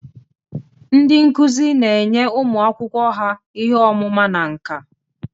Ndị nkuzi na-enye ụmụ akwụkwọ ha ihe ọmụma na nka.